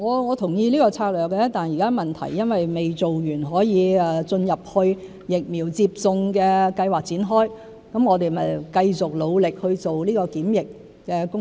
我同意這個策略，但現在問題是還未進入疫苗接種計劃可以展開的階段，因此我們繼續努力去做檢測的工作。